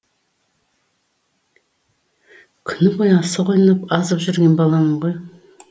күні бойы асық ойнап азып жүрген баламын ғой